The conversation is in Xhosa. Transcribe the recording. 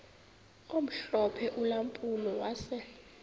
omhlophe ulampulo wase